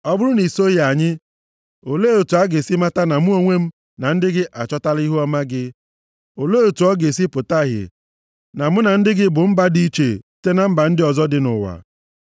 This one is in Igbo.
Ọ bụrụ na i soghị anyị, olee otu a ga-esi mata na mụ onwe m, na ndị gị achọtala ihuọma gị? Olee otu ọ ga-esi pụta ìhè na mụ na ndị gị bụ mba dị iche site na mba ndị ọzọ dị nʼụwa?”